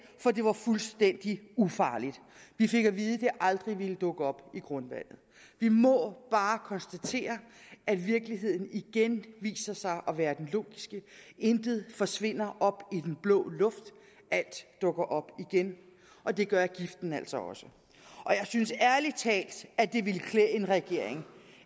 for det var fuldstændig ufarligt vi fik at vide at det aldrig ville dukke op i grundvandet vi må bare konstatere at virkeligheden igen viser sig at være den logiske intet forsvinder op i den blå luft alt dukker op igen og det gør giften altså også jeg synes ærlig talt at det ville klæde en regering